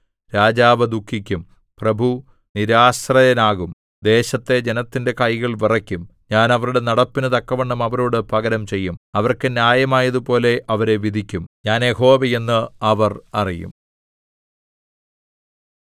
രാജാവു ദുഃഖിക്കും പ്രഭു നിരാശ്രയനാകും ദേശത്തെ ജനത്തിന്റെ കൈകൾ വിറയ്ക്കും ഞാൻ അവരുടെ നടപ്പിനു തക്കവണ്ണം അവരോട് പകരം ചെയ്യും അവർക്ക് ന്യായമായതുപോലെ അവരെ വിധിക്കും ഞാൻ യഹോവ എന്ന് അവർ അറിയും